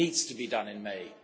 It needs to be done in May.